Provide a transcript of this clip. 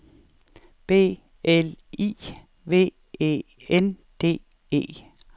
B L I V E N D E